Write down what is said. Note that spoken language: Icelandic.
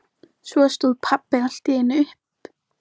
Honum finnst gott að hafa hana svona nálægt sér.